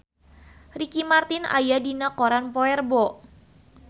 Ricky Martin aya dina koran poe Rebo